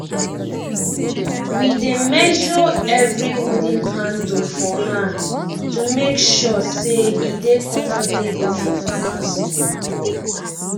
we dey measre evri wooden handle for hand to make sure say e dey comfortable for farmers